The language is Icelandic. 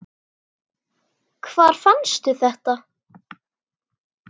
Hvar fannstu þetta?